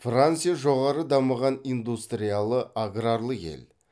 франция жоғары дамыған индустриялы аграрлы ел